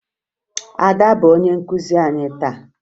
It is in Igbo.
Ada bụ onye nkụzi anyị taa